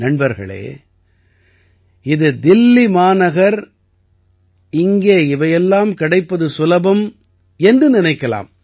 நண்பர்களே இது தில்லி மாநகர் இங்கே இவை எல்லாம் கிடைப்பது சுலபம் என்று நினைக்கலாம்